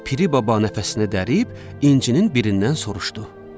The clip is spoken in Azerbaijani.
Piri baba nəfəsini dərib incinin birindən soruşdu.